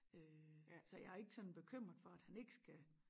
Øh så jeg er ikke sådan bekymret for at han ikke skal